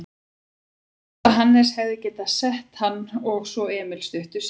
Munaði litlu að Hannes hefði getað sett hann og svo Emil stuttu síðar.